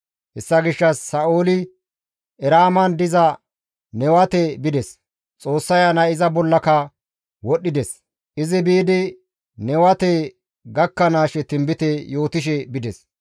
Hessa gishshas Sa7ooli Eraaman diza Newate bides; Xoossa Ayanay iza bollaka wodhdhides. Izi biidi Newate gakkanaashe tinbite yootishe bides.